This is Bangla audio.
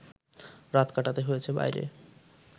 রাত কাটাতে হয়েছে বাইরে